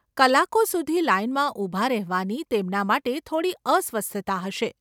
કલાકો સુધી લાઈનમાં ઊભા રહેવાની તેમના માટે થોડી અસ્વસ્થતા હશે.